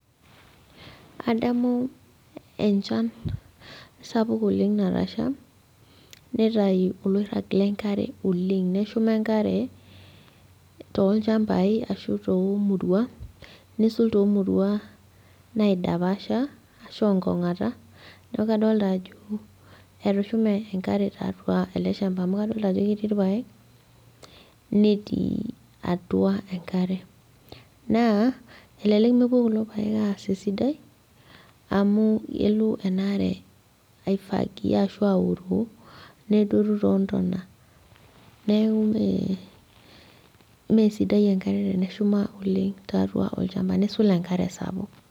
Adamu enchan sapuk oleng natasha, nitayu oloirrag lenkare oleng. Neshuma enkare tolchambai ashu tomuruan, nisul tomurua naidapasha ashu onkong'ata, neeku kadolta ajo etushume enkare tiatua ele shamba amu kadolta ajo ketii irpaek, netii atua enkare. Naa, elelek mepuo kulo paek aas esidai, amu elo enaare ai fagia ashu auroo, nedotu tontona. Neeku eh mesidai enkare teneshuma oleng tiatua olchamba. Nisul enkare sapuk.